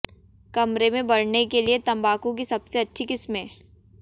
कमरे में बढ़ने के लिए तंबाकू की सबसे अच्छी किस्में